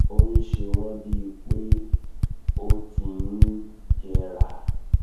ó ń ṣe wọ́n bí i pé ó ti ti ń jẹrà